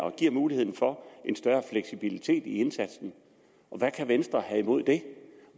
at give mulighed for en større fleksibilitet i indsatsen og hvad kan venstre have imod det